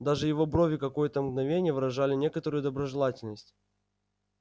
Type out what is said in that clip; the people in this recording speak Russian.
даже его брови какое-то мгновение выражали некоторую доброжелательность